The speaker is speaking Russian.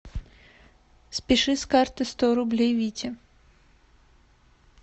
спиши с карты сто рублей вите